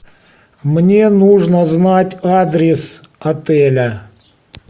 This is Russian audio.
мне нужно знать адрес отеля